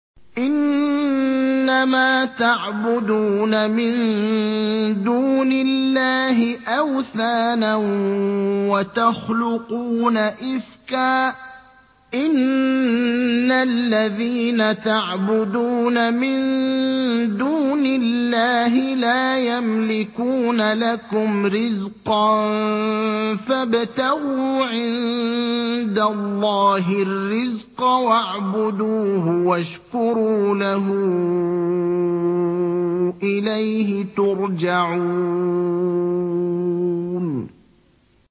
إِنَّمَا تَعْبُدُونَ مِن دُونِ اللَّهِ أَوْثَانًا وَتَخْلُقُونَ إِفْكًا ۚ إِنَّ الَّذِينَ تَعْبُدُونَ مِن دُونِ اللَّهِ لَا يَمْلِكُونَ لَكُمْ رِزْقًا فَابْتَغُوا عِندَ اللَّهِ الرِّزْقَ وَاعْبُدُوهُ وَاشْكُرُوا لَهُ ۖ إِلَيْهِ تُرْجَعُونَ